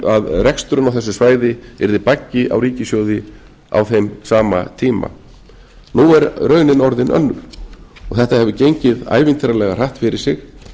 og að reksturinn á þessu svæði yrði baggi á ríkissjóði á þeim sama tíma nú er raunin orðin önnur og þetta hefur gengið ævintýralega hratt fyrir sig